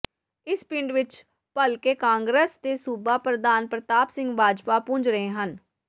ਇਸ ਪਿੰਡ ਵਿੱਚ ਭਲਕੇ ਕਾਂਗਰਸ ਦੇ ਸੂਬਾ ਪ੍ਰਧਾਨ ਪ੍ਰਤਾਪ ਸਿੰਘ ਬਾਜਵਾ ਪੁੱਜ ਰਹੇ ਹਨ